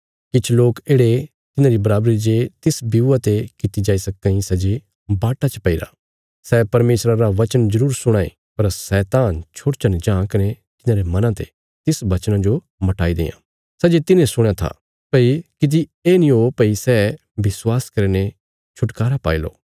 किछ लोक येढ़े तिन्हांरी बराबरी जे तिस ब्यूआ ते कित्ती जाई सक्कां इ सै जे बाट्टा च पैईरा सै परमेशरा रा वचन जरूर सुणां ये पर शैतान छोड़चा ने जां कने तिन्हांरे मनां ते तिस वचना जो मटाई देआं सै जे तिन्हें सुणया था भई किति ये नीं हो भई सै विश्वास करीने छुटकारा पाईलो